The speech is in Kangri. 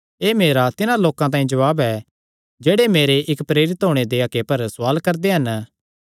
एह़ मेरा तिन्हां लोकां तांई जवाब ऐ जेह्ड़े मेरे इक्क प्रेरित होणे दे हक्के पर सवाल करदे हन